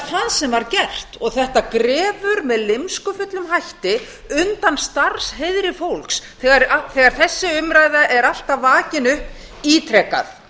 sem var gert og þetta grefur með lymskufullum hætti undan starfsheiðri fólks þegar þessi umræða er alltaf vakin upp ítrekað